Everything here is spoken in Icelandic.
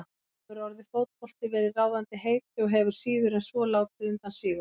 Þar hefur orðið fótbolti verið ráðandi heiti og hefur síður en svo látið undan síga.